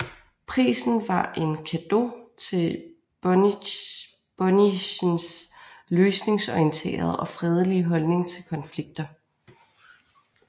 Prisen var en cadeau til Bonnichsens løsningsorienterede og fredelige holdning til konflikter